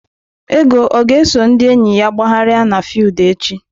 Ego ọ ga-eso ndị enyi ya gbagharịa n'fiudu echi?